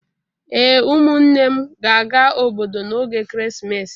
Ee, ụmụnne m ga-aga obodo n'oge ekeresimesi